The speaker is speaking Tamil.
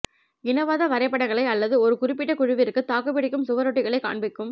இனவாத வரைபடங்களை அல்லது ஒரு குறிப்பிட்ட குழுவிற்கு தாக்குப்பிடிக்கும் சுவரொட்டிகளைக் காண்பிக்கும்